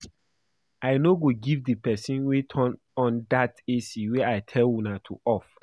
I no go give the person wey turn on dat AC wey I tell una to off